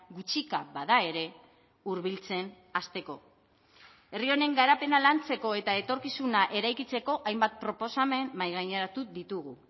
gutxika bada ere hurbiltzen hasteko herri honen garapena lantzeko eta etorkizuna eraikitzeko hainbat proposamen mahaigaineratu ditugu